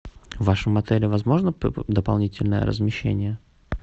в вашем отеле возможно дополнительное размещение